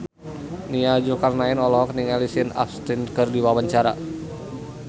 Nia Zulkarnaen olohok ningali Sean Astin keur diwawancara